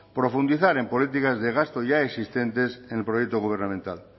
profundizar en políticas de gasto ya existentes en el proyecto gubernamental